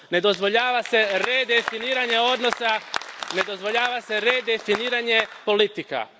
Ne dozvoljava se redefiniranje odnosa, ne dozvoljava se redefiniranje politika.